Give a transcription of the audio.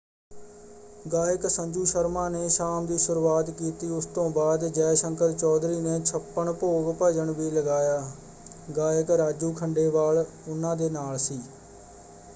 ਗਾਇਕ ਸੰਜੂ ਸ਼ਰਮਾ ਨੇ ਸ਼ਾਮ ਦੀ ਸ਼ੁਰੂਆਤ ਕੀਤੀ ਉਸ ਤੋਂ ਬਾਅਦ ਜੈ ਸ਼ੰਕਰ ਚੌਧਰੀ ਨੇ। ਛੱਪਣ ਭੋਗ ਭੱਜਣ ਵੀ ਲਗਾਇਆ। ਗਾਇਕ ਰਾਜੂ ਖੰਡੇਵਾਲ ਉਨ੍ਹਾਂ ਦੇ ਨਾਲ ਸੀ।